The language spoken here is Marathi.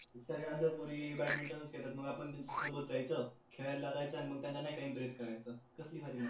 काही माणसं बॅडमिंटन खेळतात मग आपण त्यांच्या सोबत जायचं खेळायला लागायचं मग त्यांना नाय काही interest